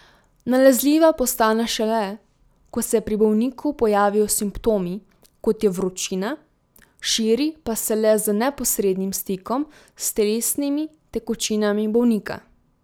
Nalezljiva postane šele, ko se pri bolniku pojavijo simptomi, kot je vročina, širi pa se le z neposrednim stikom s telesnimi tekočinami bolnika.